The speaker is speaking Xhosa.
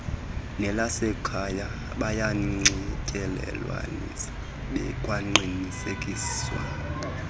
nelasekhaya bayanxityelelaniswa bekwaqinisekiswa